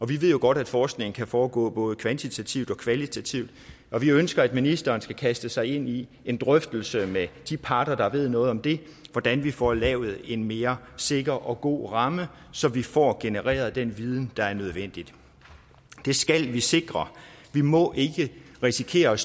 vi ved jo godt at forskning kan foregår både kvantitativt og kvalitativt og vi ønsker at ministeren skal kaste sig ind i en drøftelse med de parter der ved noget om det hvordan vi får lavet en mere sikker og god ramme så vi får genereret den viden der er nødvendig det skal vi sikre vi må ikke risikere at